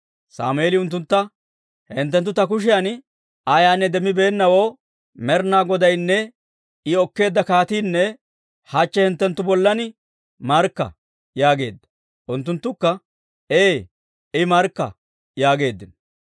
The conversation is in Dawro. Sammeeli unttuntta, «Hinttenttu ta kushiyan ayaanne demmibeennawoo Med'inaa Godaynne I okkeedda kaatiinne hachche hinttenttu bollan markka» yaageedda. Unttunttukka, «Ee, I markka» yaageeddino.